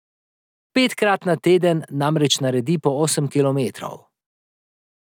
Petkrat na teden namreč naredi po osem kilometrov.